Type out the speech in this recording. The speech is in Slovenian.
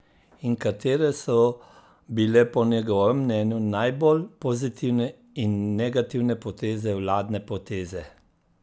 In katere so bile po njegovem mnenju najbolj pozitivne in negativne poteze vladne poteze?